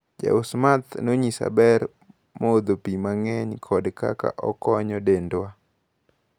Jaus math nonyisa ber modho pi mang`eny kod kaka okonyo dendwa.